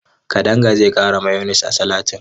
Kadanga zai ƙara mayones a salatin.